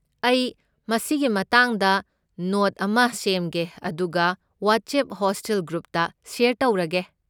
ꯑꯩ ꯃꯁꯤꯒꯤ ꯃꯇꯥꯡꯗ ꯅꯣꯠ ꯑꯃ ꯁꯦꯝꯒꯦ ꯑꯗꯨꯒ ꯋꯥꯠꯁꯑꯦꯞ ꯍꯣꯁꯇꯦꯜ ꯒ꯭ꯔꯨꯞꯇ ꯁꯦꯌꯔ ꯇꯧꯔꯒꯦ꯫